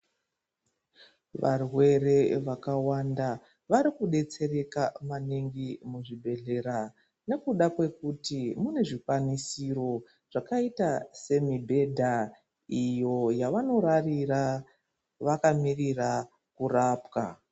Varwere vakawanda varikudetsereka maningi muzvibhedhleya nekuda kwekuti mune zvikwanisiro zvakaita semibhedha iyo yavanorarira vakamirira kurapwa.